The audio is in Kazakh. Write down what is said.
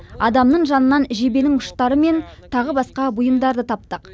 адамның жанынан жебенің ұштары мен тағы басқа бұйымдарды таптық